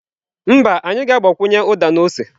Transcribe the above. Mba, anyị ga-agbakwunye uda na ose.